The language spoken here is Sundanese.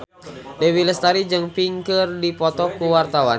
Dewi Lestari jeung Pink keur dipoto ku wartawan